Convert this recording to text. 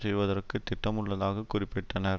செய்வதற்கு திட்டமுள்ளதாக குறிப்பிட்டனர்